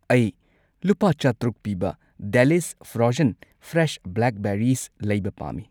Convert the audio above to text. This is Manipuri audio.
ꯑꯩ ꯂꯨꯄꯥ ꯆꯥꯇ꯭ꯔꯨꯛ ꯄꯤꯕ ꯗꯦꯂꯤꯁ ꯐ꯭ꯔꯣꯖꯟ ꯐ꯭ꯔꯦꯁ ꯕ꯭ꯂꯦꯛꯕꯦꯔꯤꯁ ꯂꯩꯕ ꯄꯥꯝꯃꯤ꯫